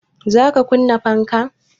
Za ka kunna fanka?